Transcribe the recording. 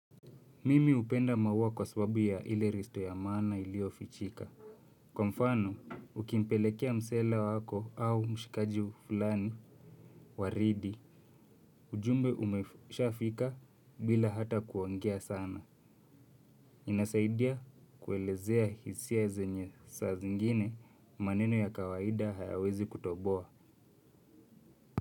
Mimi hupenda maua kwa sababu ya ile risto ya maana iliyo fichika. Kwa mfano, ukimpelekea msela wako au mshikaji fulani waridi. Ujumbe umesha fika bila hata kuongea sana. Inasaidia kuelezea hisia zenye saa zingine maneno ya kawaida hayawezi kutoboa.